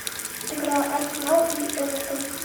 игра арсенал и эвертон